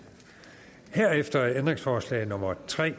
herefter er ændringsforslag nummer tre